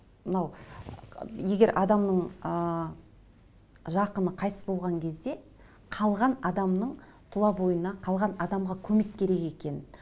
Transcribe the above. мынау егер адамның ыыы жақыны қайтыс болған кезде қалған адамның тұла бойына қалған адамға көмек керек екен